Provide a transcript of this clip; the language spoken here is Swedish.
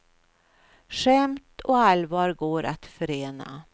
Skämt och allvar går att förena.